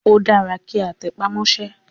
Ó dára kí a tẹpá mọ́sẹ́.